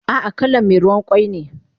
Ah ah kalan me ruwan kwai ne